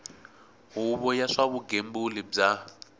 huvo ya swa vugembuli bya